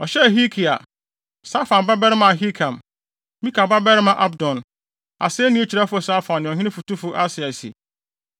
Ɔhyɛɛ Hilkia, Safan babarima Ahikam, Mika babarima Abdon, asennii kyerɛwfo Safan ne ɔhene fotufo Asaia se,